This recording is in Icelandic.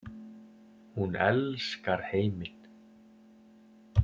Hún elskar heiminn.